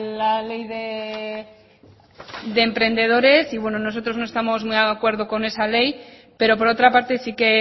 la ley de emprendedores y bueno nosotros no estamos muy de acuerdo con esa ley pero por otra parte sí que